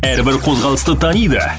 әрбір қозғалысты таниды